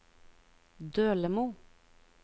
Dølemo